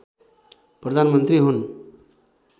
प्रधानमन्त्री हुन्